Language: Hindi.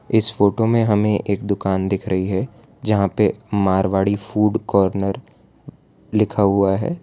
इस फोटो में हमें एक दुकान दिख रही है जहां पे मारवाड़ी फूड कॉर्नर लिखा हुआ है।